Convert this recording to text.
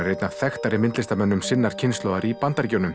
er einn af þekktari myndlistarmönnum sinnar kynslóðar í Bandaríkjunum